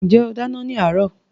Ṣé ó dáná ní àárọ̀?